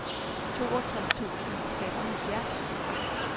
toogtres tusind og femoghalvfjerds